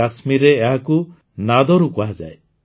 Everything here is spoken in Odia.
କାଶ୍ମୀରରେ ଏହାକୁ ନାଦରୁ କୁହାଯାଏ